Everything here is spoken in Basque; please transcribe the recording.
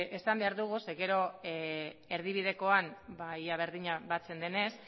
esan behar dugu ze gero erdibidekoan ia berdina batzen denez